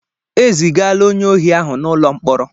E zigaala onye ohi ahụ n'ụlọ mkpọrọ.